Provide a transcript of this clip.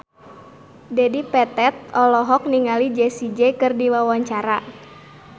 Dedi Petet olohok ningali Jessie J keur diwawancara